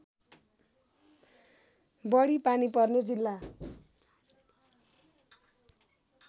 बढी पानी पर्ने जिल्ला